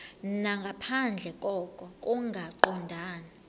nangaphandle koko kungaqondani